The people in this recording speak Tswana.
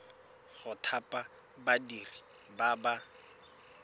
go thapa badiri ba ba